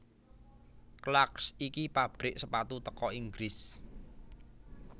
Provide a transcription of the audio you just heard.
Clarks iki pabrik sepatu teko Inggris